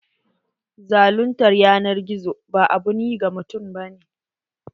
Zaluntar yanar gizo ba abun yi ga mutum ba ne.